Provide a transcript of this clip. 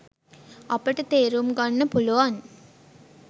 අපට තේරුම්ගන්න පුළුවන්